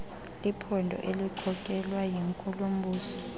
liphondo elikhokelwa yinkulumbuso